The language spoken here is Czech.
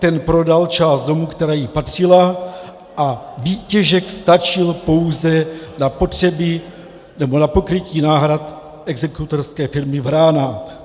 Ta prodala část domu, která jí patřila, a výtěžek stačil pouze na pokrytí náhrad exekutorské firmy Vrána.